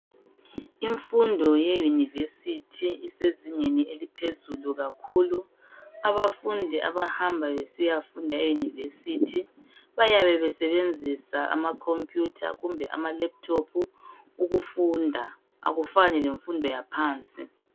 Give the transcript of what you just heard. Imfundo ye university isezingeni eliphezulu kakhulu abafundi abahamba besiya funda euniversity bayabe besebenzisa amakhompuyutha kumbe amalephuthophu ukufunda akufani lemfundo yaphansi.